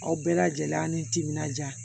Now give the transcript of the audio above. Aw bɛɛ lajɛlen an' ni timinandiya